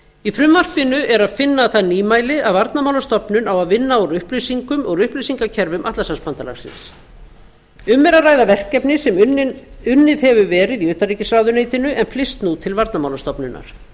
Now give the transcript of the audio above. í frumvarpinu er að finna það nýmæli að varnarmálastofnun á að vinna úr upplýsingakerfum atlantshafsbandalagsins um er að ræða verkefni sem unnið hefur verið í utanríkisráðuneytinu en flyst nú til varnarmálastofnunar